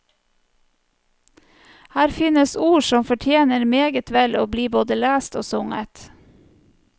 Her fins ord som fortjener meget vel å bli både lest og sunget.